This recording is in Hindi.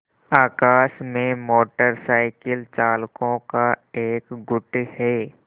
आकाश में मोटर साइकिल चालकों का एक गुट है